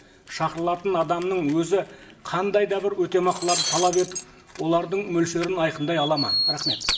шақырылатын адамның өзі қандай да бір өтемақыларды талап етіп олардың мөлшерін айқындай алады ма рахмет